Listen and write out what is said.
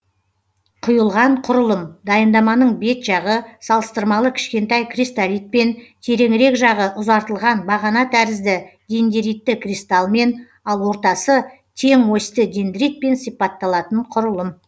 құйылған құрылым дайындаманың бет жағы салыстырмалы кішкентай кристалитпен тереңірек жағы ұзартылған бағана тәрізді дендеритті кристалмен ал ортасы тең осьті дендритпен сипатталатын құрылым